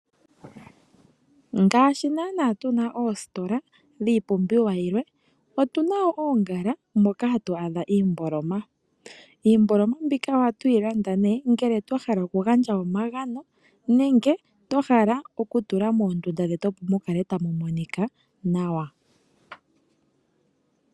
Ngaashi nana tuna oositola dhipumbiwa yilwe otuna wo dho oongala moka hatu adha iimboloma, iimboloma mbika ohatu yi landa ne ngele twahala okugandja omagano nenge twahala okutula moondunda dhetu opo mukale tamu monika nawa.